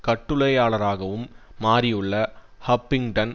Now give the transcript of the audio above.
கட்டுரையாளராகவும் மாறியுள்ள ஹஃபிங்டன்